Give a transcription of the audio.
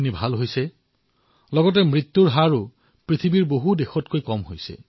লগতে আমাৰ দেশত কৰোনাৰ ফলত হোৱা মৃত্যুৰ হাৰ অধিকাংশ দেশতকৈ কম